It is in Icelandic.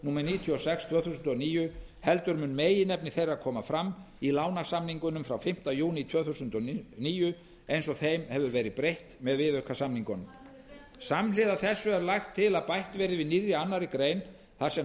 númer níutíu og sex tvö þúsund og níu heldur mun meginefni þeirra koma fram í lánasamningunum frá fimmta júní tvö þúsund og níu eins og þeim hefur verið breytt með viðaukasamningunum samhliða þessu er lagt til að bætt verði við nýrri annarrar greinar þar sem